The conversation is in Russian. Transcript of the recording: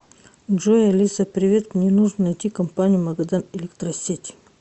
джой алиса привет мне нужно найти компанию магадан электросеть